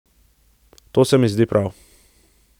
To se mi zdi prav.